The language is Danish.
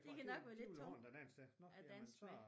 Det kan nok være lidt tungt at danse med